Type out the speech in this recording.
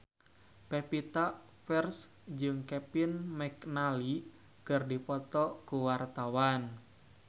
Pevita Pearce jeung Kevin McNally keur dipoto ku wartawan